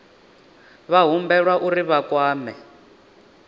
vha humbelwa uri vha kwame